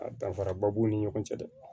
A danfaraba b'u ni ɲɔgɔn cɛ dɛ